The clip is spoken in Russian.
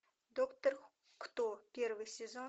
доктор кто первый сезон